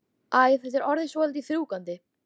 Æ, þetta er orðið svolítið þrúgandi.